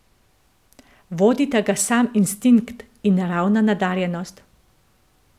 Vodita ga sam instinkt in naravna nadarjenost.